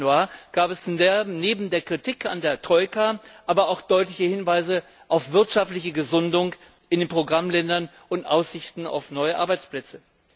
9.Januar gab es neben der Kritik an der Troika aber auch deutliche Hinweise auf wirtschaftliche Gesundung in den Programmländern und Aussichten auf neue Arbeitsplätze.